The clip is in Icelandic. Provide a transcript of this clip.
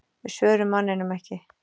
Við svörum manninum ekki.